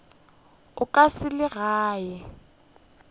o ka se le age